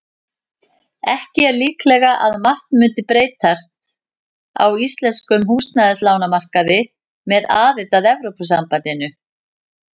Ekki er líklegt að margt mundi breytast á íslenskum húsnæðislánamarkaði með aðild að Evrópusambandinu.